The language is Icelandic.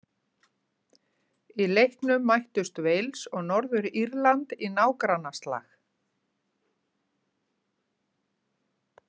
Í leiknum mættust Wales og Norður-Írland í nágrannaslag.